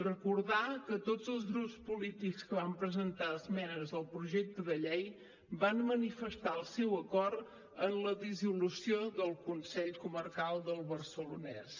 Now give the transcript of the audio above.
recordar que tots els grups polítics que van presentar esmenes al projecte de llei van manifestar el seu acord amb la dissolució del consell comarcal del barcelonès